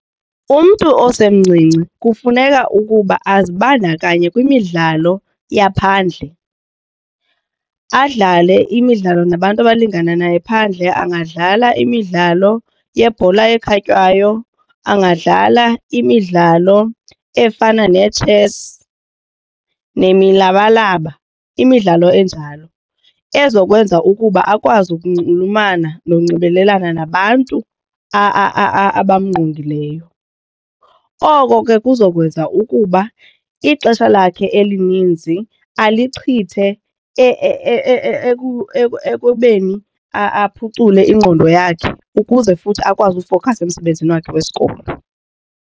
Umntu osemncinci kufuneka ukuba azibandakanye kwimidlalo yaphandle, adlale imidlalo nabantu abalingana naye phandle. Angadlala imidlalo yebhola ekhatywayo, angadlala imidlalo efana neetshesi nemilabalaba imidlalo enjalo ezokwenza ukuba akwazi ukunxulumana nokunxibelelana nabantu abamngqongileyo. Oko ke kuzokwenza ukuba ixesha lakhe elininzi alichithe ekubeni aphucule ingqondo yakhe ukuze futhi akwazi ukufowukhasa emsebenzini wakhe wesikolo.